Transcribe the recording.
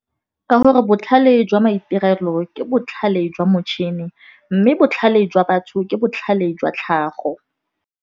Ka gore botlhale jwa maitirelo ke botlhale jwa motšhini, mme botlhale jwa batho ke botlhale jwa tlhago.